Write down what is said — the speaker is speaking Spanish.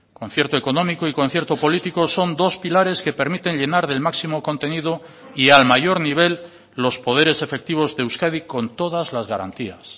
concierto económico y concierto político son dos pilares que permiten llenar del máximo contenido y al mayor nivel los poderes efectivos de euskadi con todas las garantías